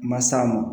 Ma s'a ma